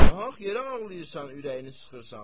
Nahaq yerə ağlayırsan, ürəyini sıxırsan.